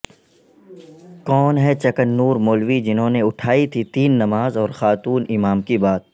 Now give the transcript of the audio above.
کون ہیں چکننور مولوی جنہوں نے اٹھائی تھی تین نماز اور خاتون امام کی بات